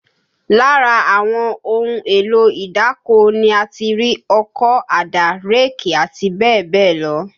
Lára àwọn ohun èlò ìdáko ni a ti rí ọkọ́, àdá, réèkì àti bẹ́ẹ̀ bẹ́ẹ̀ lọ